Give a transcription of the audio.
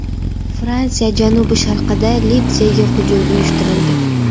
Fransiya janubi-sharqida litseyga hujum uyushtirildi.